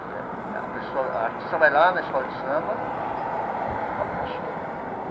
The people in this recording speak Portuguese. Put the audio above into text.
E a pessoa a artista vai lá na escola de samba e fala o cachê.